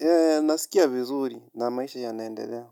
Eee nasikia vizuri na maisha yanaendelea.